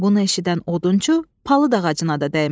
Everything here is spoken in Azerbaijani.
Bunu eşidən odunçu palıd ağacına da dəymədi.